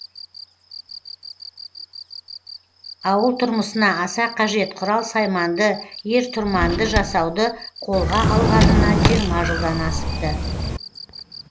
ауыл тұрмысына аса қажет құрал сайманды ер тұрманды жасауды қолға алғанына жиырма жылдан асыпты